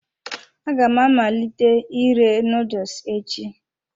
Aga m amalite ire noodles echi.